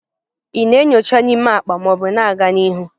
Ị na-enyocha n'ime akpa ma ọ bụ na-aga n'ihu?